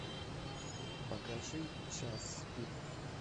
покажи час пик